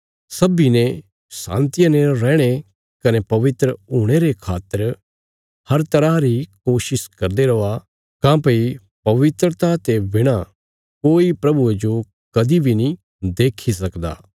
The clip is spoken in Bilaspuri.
सब्बीं ने शान्तिया ने रैहणे कने पवित्र हुणे रे खातर हर तरह री कोशिश करदे रौआ काँह्भई पवित्रता ते बिणा कोई प्रभुये जो कदीं बी नीं देखी सकदा